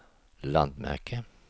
landmärke